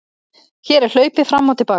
Hér er hlaupið fram og til baka.